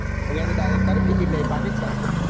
અહીંયા થી direct ક્યાંની ticket લેવી પાકિસ્તાન ની.